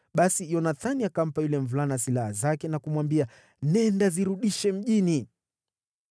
Basi Yonathani akampa yule mvulana silaha zake na kumwambia, “Nenda, zirudishe mjini.”